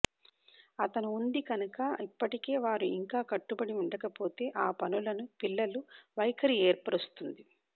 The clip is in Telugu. అతను ఉంది కనుక ఇప్పటికే వారు ఇంకా కట్టుబడి ఉండకపోతే ఆ పనులను పిల్లలు వైఖరి ఏర్పరుస్తుంది